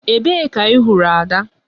Ebee ka ị hụrụ Ada?